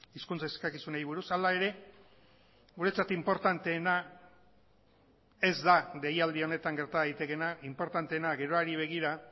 hizkuntz eskakizunei buruz hala ere guretzat inportanteena ez da deialdi honetan gerta daitekeena inportanteena geroari begira